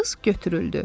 Qız götürüldü.